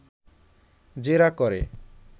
জেরা করে